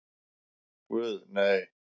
Guð, nei.